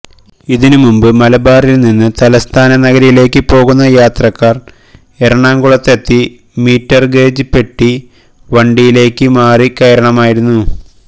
അതിന് മുമ്പ് മലബാറിൽ നിന്ന് തലസ്ഥാന നഗരയിലേക്ക് പോകുന്ന യാത്രക്കാർ എറണാകുളത്തെത്തി മീറ്റർ ഗേജ് പെട്ടി വണ്ടിയിലേക്ക് മാറി കയറണമായിരുന്നു